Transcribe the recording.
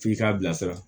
F'i k'a bilasira